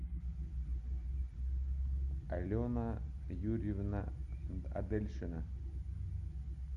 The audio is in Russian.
алена юрьевна адельшина